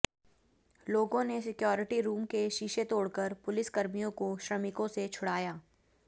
लोगों ने security room के शीशे तोड़कर पुलिस कर्मियों को श्रमिकों से छुड़ाया